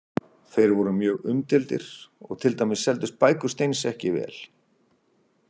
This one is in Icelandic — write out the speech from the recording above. Þeir voru mjög umdeildir og til dæmis seldust bækur Steins ekki vel.